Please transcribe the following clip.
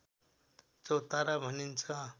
चौतारा भनिन्छ